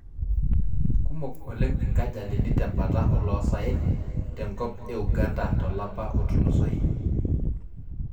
Kumok oleng' inkajalini tembata oloosaen te enkop e Uganda tolapa otulusoyie